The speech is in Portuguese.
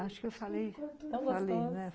Acho que eu falei, falei, né?